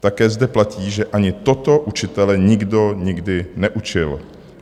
Také zde platí, že ani toto učitele nikdo nikdy neučil.